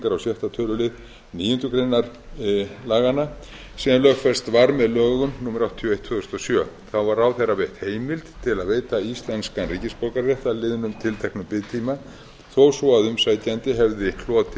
á sjötta tölulið níundu grein laganna sem lögfest var með lögum númer áttatíu og eitt tvö þúsund og sjö þá var ráðherra veitt heimild til að veita íslenskan ríkisborgararétt að liðnum tilteknum biðtíma þó svo umsækjandi hefði hlotið sekt